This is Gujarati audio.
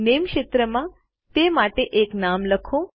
નામે ક્ષેત્રમાં તે માટે એક નામ લખો